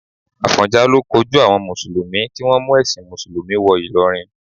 Àfọ̀njá ló kojú àwọn mùsùlùmí tí wọ́n mú ẹ̀sìn mùsùlùmí wọ Ìlọrin.